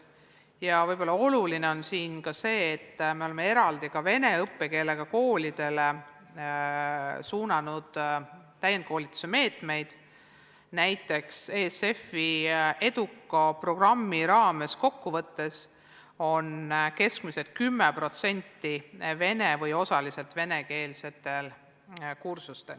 Ja võib-olla on oluline ka see, et me oleme vene õppekeelega koolidele suunanud eraldi täienduskoolituse meetmeid, näiteks ESF-i eduka programmi raames on kokku võttes keskmiselt 10% vene või osaliselt venekeelsetel kursustel.